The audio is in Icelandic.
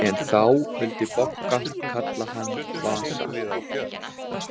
En þá vildi Bogga kalla hann Vasa.